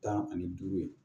Tan ani duuru ye